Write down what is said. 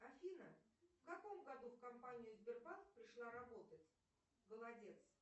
афина в каком году в компанию сбербанк пришла работать голодец